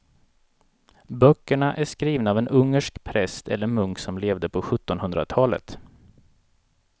Böckerna är skrivna av en ungersk präst eller munk som levde på sjuttonhundratalet.